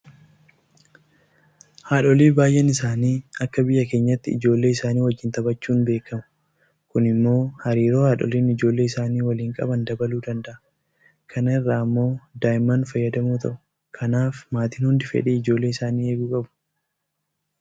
Haadholii baay'een isaanii akka biyya keenyaatti ijoollee isaanii wajjin taphachuudhaan beekamu. Kun immoo hariiroo haadholiin ijoollee isaanii wajjin qaban dabaluu danda'a. Kana irraa immoo daa'imman fayyadamoo ta'u. Kanaaf maatiin hundi fedhii ijoollee isaanii eeguu qabu.